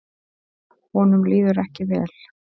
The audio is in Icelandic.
Honum líður ekki vel.